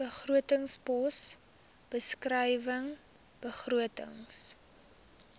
begrotingspos beskrywing begrotings